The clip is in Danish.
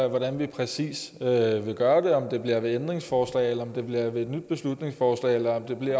af hvordan vi præcis vil gøre om det bliver med et ændringsforslag eller med et nyt beslutningsforslag eller om vi